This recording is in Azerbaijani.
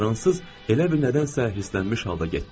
Fransız elə bil nədənsə hirslənmiş halda getdi.